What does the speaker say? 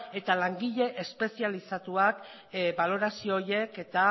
eta langile espezializatuak balorazio horiek eta